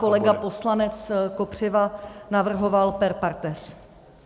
Pan kolega poslanec Kopřiva navrhoval per partes.